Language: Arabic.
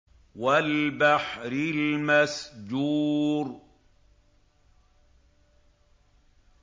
وَالْبَحْرِ الْمَسْجُورِ